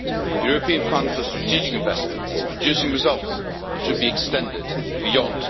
The European Fund for Strategic Investments is producing results and should be extended beyond